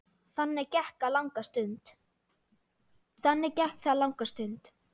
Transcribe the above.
Þannig gekk það langa stund.